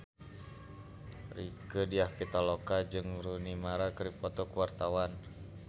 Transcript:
Rieke Diah Pitaloka jeung Rooney Mara keur dipoto ku wartawan